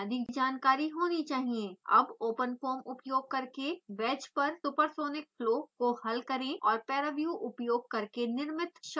अब openfoam उपयोग करके wedge पर supersonic flow को हल करें और paraview उपयोग करके निर्मित shock structure को देखें